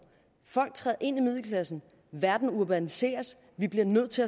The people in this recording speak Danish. folk træder ind i middelklassen verden urbaniseres vi bliver nødt til